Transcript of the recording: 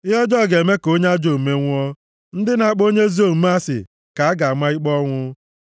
Ihe ọjọọ ga-eme ka onye ajọ omume nwụọ; ndị na-akpọ onye ezi omume asị ka a ga-ama ikpe ọnwụ.